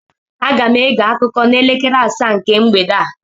Aga m ege akụkọ n'elekere asaa nke mgbede a